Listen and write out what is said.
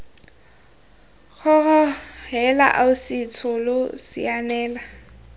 kgoro heela ausi tsholo sianela